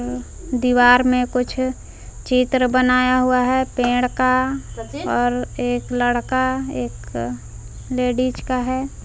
दीवार में कुछ चित्र बनाया हुआ है पेड़ का और एक लड़का एक लेडिस का है।